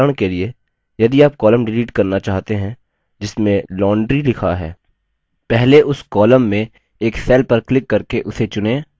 उदाहरण के लिए यदि आप column डिलीट करना चाहते हैं जिसमें laundry लिखा है पहले उस column में एक cell पर क्लिक करके उसे चुनें